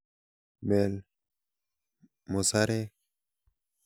Mel musarek.